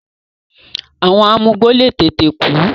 àwọn amugbó le tètè kú.